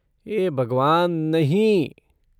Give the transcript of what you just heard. हे भगवान, नहीं!